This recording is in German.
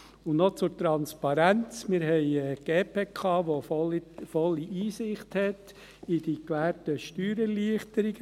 Und noch zur Transparenz: Wir haben die GPK, die volle Einsicht hat in die gewährten Steuererleichterungen.